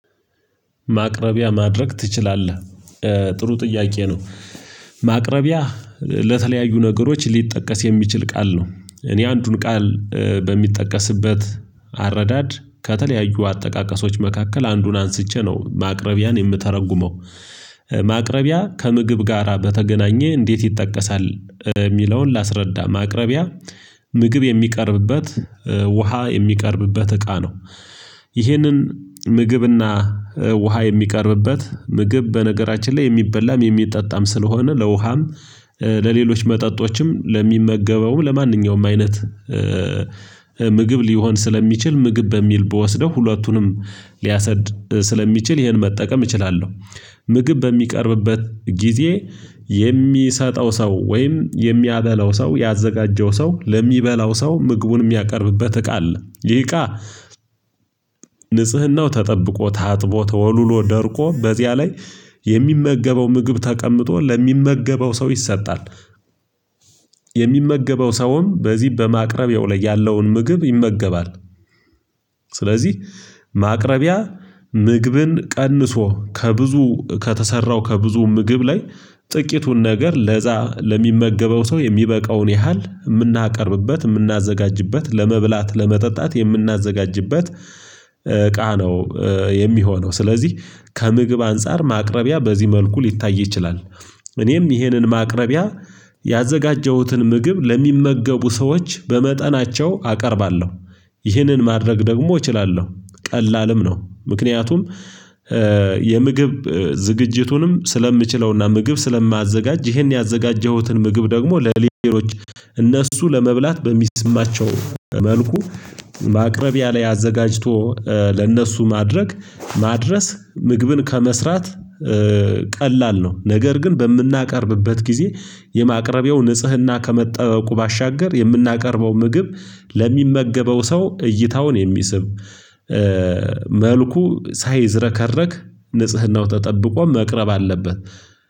ማቅረቢያ ማድረግ ትችላለህ? ጥሩ ጥያቄ ነው። ማቅረቢያ ለተለያዩ ነገሮች ሊጠቀስ የሚችል ቃል ነው። እኔ አንዱን ቃል በሚጠቀስበት አረዳድ ከተለያዩ አጠቃቀሶች መካከል አንዱን አንስቼ ነው ማቅረቢያን የምተረጉመው። ማቅረቢያ ከምግብ ጋራ በተገናኘ እንዴት ይጠቀሳል የሚለውን ላስረዳ ማቅረቢያ ምግብ የሚቀርብበት ውሃ የሚቀርብበት እቃ ነው። ይህንን ምግብና ውሃ የሚቀርብበት ምግብ በነገራችን ላይ የሚበላም የሚጠጣም ስለሆነ ለውሃም ለሌሎች መጠጦችም ለሚመገበውም ለማንኛውም አይነት ምግብ ሊሆን ስለሚችል ምግብ በሚል በወስደው ሁለቱንም ሊያሰድ ስለሚችል ይሄን መጠቀም እችላለሁ። ምግብ በሚቀርብበት ጊዜ የሚሰጠው ሰው ወይም የሚያበላው ሰው ያዘጋጀው ሰው ለሚበላው ሰው ምግቡን የሚያቀርብበት እቃ አለ ይህ እቃ ንጽህናው ተጠብቆ ታጥቦ ተወልሎ ደርቆ በዚያ ላይ የሚመገበው ምግብ ተቀምጦ ለሚመገበው ሰው ይሰጣል፤። የሚመገበው ሰውም በዚህ በማቅረቢያው ላይ ያለውን ምግብ ይመገባል። ስለዚህ ማቅረቢያ ምግብን ቀንሶ ከብዙ ከተሰራው ከብዙ ምግብ ላይ ጥቂቱን ነገር ለዛ ለሚመገበው ሰው የሚበቃውን ያህል የምናቀርብበት የምናዘጋጅበት ለመብላት ለመጠጣት የምናዘጋጅበት እቃ ነው። የሚሆነው ስለዚህ ከምግብ አንፃር ማቅረቢያ በዚህ መልኩ ሊታይ ይችላል። እኔም ይሄንን ማቅረቢያ ያዘጋጀሁትን ምግብ ለሚመገቡ ሰዎች በመጠናቸው አቀርባለሁ። ይህንን ማድረግ ደግሞ እችላለሁ ቀላልም ነው። ምክንያቱም የምግብ ዝግጅቱንም ስለምችለውና ምግብ ስለማዘጋጅ ይሄን ያዘጋጀሁትን ምግብ ደግሞ ለሌሎች እነሱ ለመብላት በሚስማቸው መልኩ ማቅረቢያ ላይ አዘጋጅቶ ለእነሱ ማድረግ ማድረስ ምግብን ከመስራት ቀላል ነው። ነገር ግን በምናቀርብበት ጊዜ የማቅረቢያው ንጽህና ከመጠበቁ ባሻገር የምናቀርበው ምግብ ለሚመገበው ሰው እይታውን የሚስብ መልኩ ሳይዝረከረክ ንጽህናው ተጠብቆ መቅረብ አለበት፤።